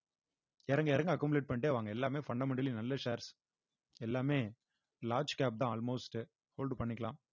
இறங்க இறங்க accumulate பண்ணிட்டே வாங்க எல்லாமே fundamentally நல்ல shares எல்லாமே large cap தான் almost hold பண்ணிக்கலாம்